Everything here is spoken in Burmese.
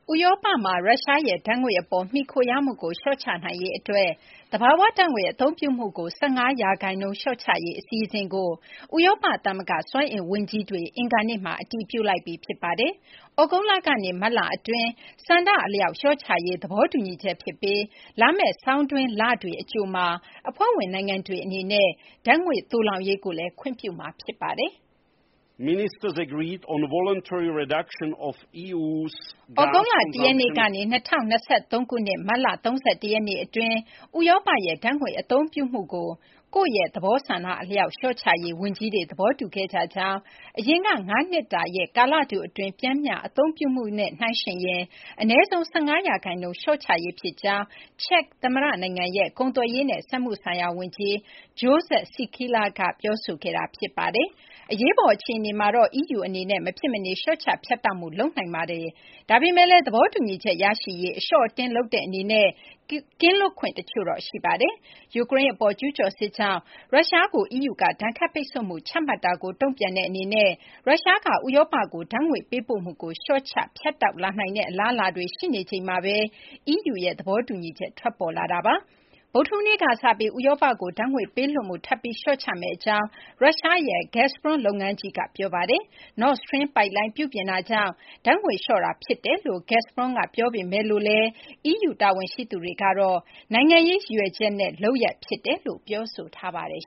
ဥရောပမှာ ရုရှားရဲ့ ဓာတ်ငွေ့ အပေါ် မှီခိုရမှုကို လျှော့ချနိုင်ရေးအတွက် သဘာဝဓာတ်ငွေ့ အသုံးပြုမှုကို ၁၅ ရာခိုင်နှုန်း လျှော့ချရေး အစီအစဉ်ကို ဥရောပသမဂ္ဂ စွမ်းအင် ဝန်ကြီးတွေ အင်္ဂါနေ့မှာ အတည်ပြုလိုက်ပြီ ဖြစ်ပါတယ်။ သြဂုတ်လကနေ မတ်လ အတွင်း ဆန္ဒအလျောက် လျှော့ချရေး သဘောတူညီချက် ဖြစ်ပြီး လာမယ့် ဆောင်တွင်းလတွေ အကြိုမှာ အဖွဲ့ဝင် နိုင်ငံတွေ အနေနဲ့ ဓာတ်ငွေ့ သိုလှောင်ရေးကိုလည်း ခွင့်ပြုမှာ ဖြစ်ပါတယ်။ သြဂုတ်လ ၁ ရက်နေ့ကနေ ၂၀၂၃ ခုနှစ် မတ်လ ၃၁ ရက်နေ့ အတွင်း ဥရောပရဲ့ ဓာတ်ငွေ့ အသုံးပြုမှုကို ကိုယ့်ရဲ့ သဘောဆန္ဒအလျောက် လျှော့ချရေး ဝန်ကြီးတွေ သဘောတူခဲ့ကြကြောင်း၊ အရင် ၅ နှစ်တာရဲ့ ကာလတူအတွင်း ပျမ်းမျှအသုံးပြုမှုနဲ့ နှိုင်းယှဉ်ရင် အနည်းဆုံး ၁၅ ရာခိုင်နှုန်း လျှော့ချရေး ဖြစ်ကြောင်း ချက်သမ္မတ နိုင်ငံရဲ့ ကုန်သွယ်ရေးနဲ့ စက်မှုဆိုင်ရာ ဝန်ကြီး Jozef Sikela က ပြောဆိုခဲ့တာပါ။ အရေးပေါ် အခြေအနေမှာတော့ EU အနေနဲ့ မဖြစ်မနေ လျှော့ချ ဖြတ်တောက်မှု လုပ်ဆောင်နိုင်ပါတယ်။ ဒါပေမဲ့လည်း သဘောတူညီချက် ရရှိရေး အလျှော့အတင်း လုပ်တဲ့ အနေနဲ့ ကင်းလွတ်ခွင့် တချို့တော့ ရှိပါတယ်။ ယူကရိန်း အပေါ် ကျူးကျော်စစ်ကြောင့် ရုရှားကို EU က ဒဏ်ခတ်ပိတ်ဆို့မှု ချမှတ်တာကို တုံ့ပြန်တဲ့ အနေနဲ့ ရုရှားက ဥရောပကို ဓာတ်ငွေ့ ပေးပို့မှုကို လျှော့ချ ဖြတ်တောက်လာနိုင်တဲ့ အလားအလာတွေ ရှိနေချိန်မှာဘဲ EU ရဲ့ သဘောတူညီချက် ထွက်ပေါ်လာတာပါ။ ဗုဒ္ဓဟူးနေ့က စပြီး ဥရောပကို ဓာတ်ငွေ့ ပေးလွှတ်မှုကို ထပ်ပြီး လျှော့ချမယ့် အကြောင်း ရုရှားရဲ့ Gazprom လုပ်ငန်းကြီးက ပြောဆိုထားတာပါ။ Nord Stream ပိုက်လိုင်း ပြုပြင်မှုကြောင့် ဓာတ်ငွေ့ လျှော့ချတာ ဖြစ်ကြောင့် Gazprom က ပြောပေမဲ့လို့လည်း EU တာဝန်ရှိသူတွေကတော့ နိုင်ငံရေး ရည်ရွယ်ချက်နဲ့ လုပ်ရပ် ဖြစ်တယ်လို့ ပြောဆိုထားပါတယ်